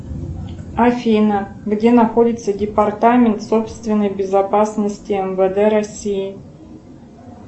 афина где находится департамент собственной безопасности мвд россии